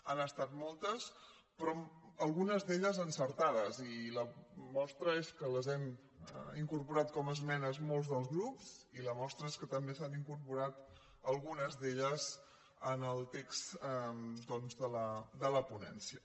han estat moltes però algunes d’elles encertades i la mostra és que les hem incorporat com a esmenes molts dels grups i la mostra és que també s’han incorporat algunes d’elles en el text de la ponència